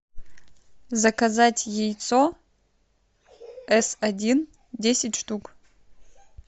заказать яйцо эс один десять штук